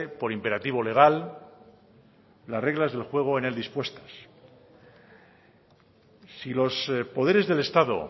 por imperativo legal las reglas del juego en él dispuestas si los poderes del estado